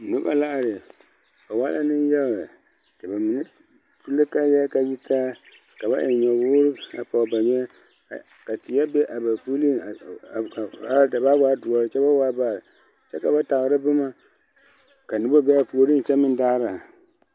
Noba la are ba waa la nenyaga ba mine su la kaayaa k,a yitaa ka ba eŋ nyɔwoore ka a pɔge ba nyeɛ ka teɛ be a ba puliŋ ka a da baa waa doɔre kyɛ ba waa baare kyɛ ka ba tagra boma ka noba be a puoriŋ kyɛ meŋ daara.